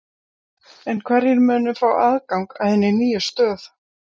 En hverjir munu fá aðgang að hinni nýju stöð?